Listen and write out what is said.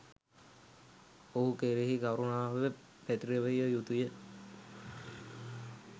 ඔහු කෙරෙහි කරුණාව පැතිරවිය යුතු ය.